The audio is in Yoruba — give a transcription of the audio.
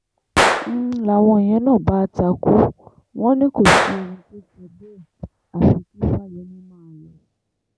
n láwọn yẹn na bá á takú wọn ní k òsì